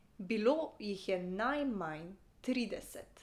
Bilo jih je najmanj trideset.